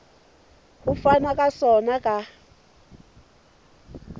ho fanwa ka sona ka